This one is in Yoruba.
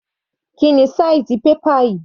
Kíni size paper yìí?